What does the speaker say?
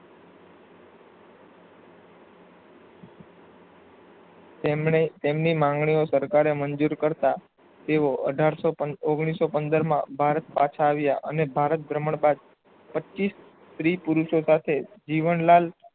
તેમણે તેમની માંગણીઓ સરકારે મંજુર કરતા તેઓ અઢારસો પણ ઓગણીસો પંદર માં ભારત પાછા આવ્યા અને ભારત ભર્મણ બાદ પચીસ સ્ત્રી પુરુસોસાથે જીવન લાલ